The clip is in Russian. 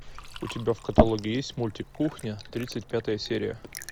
у тебя в каталоге есть мультик кухня тридцать пятая серия